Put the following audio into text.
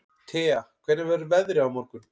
Thea, hvernig verður veðrið á morgun?